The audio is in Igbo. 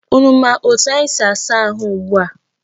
Unu ma etu anyi si asa ahụ ugbua?